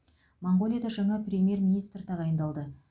моңғолияда жаңа премьер министр тағайындалды